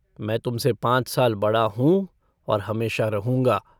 मैं तुमसे पाँच साल बड़ा हूँ और हमेशा रहूँगा।